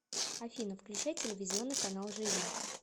афина включай телевизионный канал живи